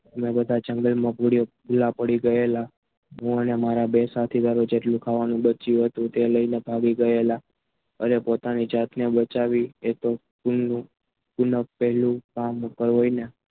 તમે બધા જંગલમાં ભૂલા પડી ગયેલા હું અને બે સાથીદારો જેટલું ખાવાનું બચ્યું હતું. તે લઈ ભાગી ગયેલા અને પોતાની જાતને બચાવી એ પુન પહેલું કામ હોય ને